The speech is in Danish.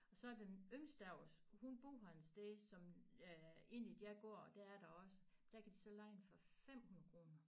Og så den yngste af os hun bor på en sted som øh inden i deres gård der er der også der kan de så leje den for 500 kroner